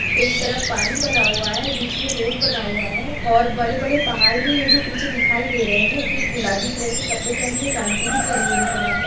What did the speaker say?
एक तरफ पानी भरा हुआ है। बीच में रोड बना हुआ है और बड़े बड़े पहाड़ भी है जो पीछे दिखाई दे रहे है। एक गुलाबी कलर के कपड़े पहन के एक आंटी भी खड़ी हुई है यहां पर।